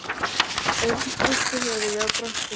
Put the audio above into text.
Örn hristi höfuðið og brosti meira.